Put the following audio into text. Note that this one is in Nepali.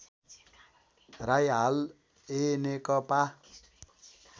राई हाल एनेकपा